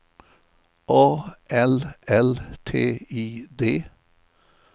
A L L T I D